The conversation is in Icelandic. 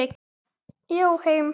Já, heim.